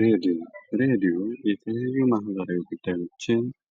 ሬዲዮ ሬዲዮየቴሌቪዥን ማህበራዊ ሚዲያ